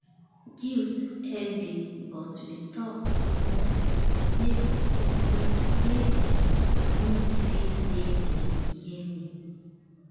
guilt heavy but we talk open make open make um me feel say dem hear me